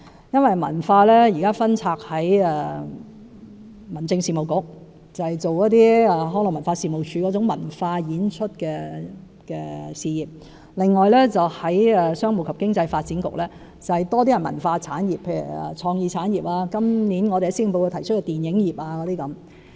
現時文化工作分拆，由民政事務局負責康樂及文化事務署的文化演出事業；商務及經濟發展局則較多是一些文化產業，如創意產業，以及今年施政報告提及的電影業等。